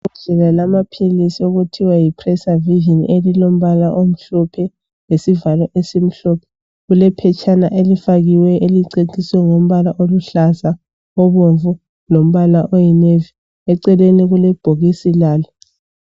Ngibona amaphilisi okuthiwa yi PreserVision elilombala omhlophe lesivalo esimhlophe. Kulephetshana elifakiweyo eliceciswe ngombala oluhlaza, obomvu lombala oyinavy. Eceleni kulebhokisi lalo